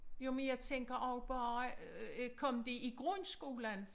Jo men jeg tænker også bare øh kom de i grundskolen?